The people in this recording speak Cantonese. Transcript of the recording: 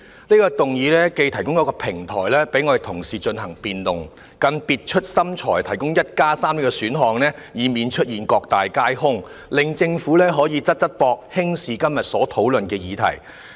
這項議案既提供平台讓同事進行辯論，更別出心裁地提出 "1+3" 的選項，以免出現各大皆空的情況，令政府可以"側側膊"輕視今天所討論的議題。